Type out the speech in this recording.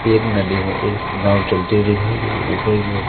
एक नदी में इस नाव चलती हुई दिखाई दे रही ऊपर की ओर--